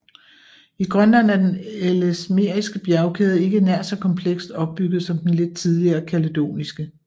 I Grønland er den ellesmeriske bjergkæde ikke nær så komplekst opbygget som den lidt tidligere kaledoniske